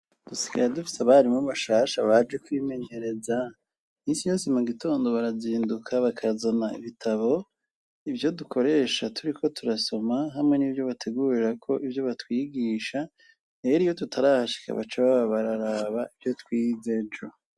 Dusikaye dufite abarimo bashasha baje kwimenyereza. Iminsi yose mu gitondo barazinduka bakazana ibitabo, ivyo dukoresha turi ko turasoma hamwe n'ivyo bategurira ko ibyo batwigisha rer iyo tutarahashika baca baba bararaba ibyo twize ejo.